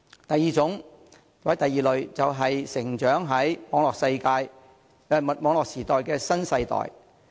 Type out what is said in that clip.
第二類是成長在網絡時代的新世代。